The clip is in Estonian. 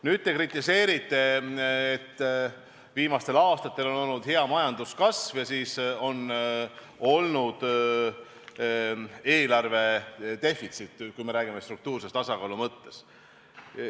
Nüüd te kritiseerite, et viimastel aastatel on olnud hea majanduskasv ja siis on olnud eelarvedefitsiit, kui me räägime struktuurse tasakaalu mõttes.